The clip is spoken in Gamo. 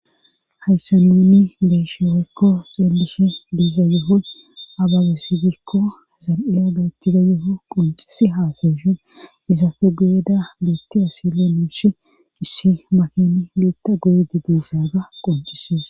hayssa nunni beeshewekko xeellishe diiza yohoy abagesigikko zal7eya gaettida yo7o qoncisi haasayishun izafe guyeda beetti asile muushi issi makini li7etta goydi duusaga qoncisees